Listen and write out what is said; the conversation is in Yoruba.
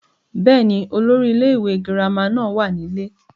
bẹ́ẹ̀ni, olórí ilé ìwé girama náà wà nílé